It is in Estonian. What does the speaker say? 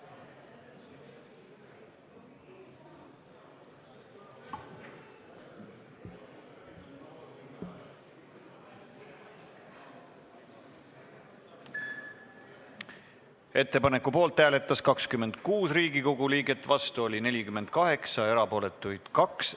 Hääletustulemused Ettepaneku poolt hääletas 26 Riigikogu liiget, vastu oli 48, erapooletuid 2.